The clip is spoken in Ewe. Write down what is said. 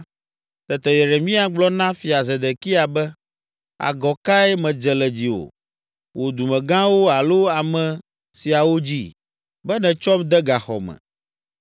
Tete Yeremia gblɔ na Fia Zedekia be, “Agɔ kae medze le dziwò, wò dumegãwo alo ame siawo dzi, be nètsɔm de gaxɔ me?